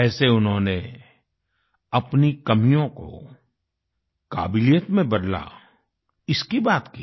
कैसे उन्होंने अपनी कमियों को काबिलियत में बदला इसकी बात की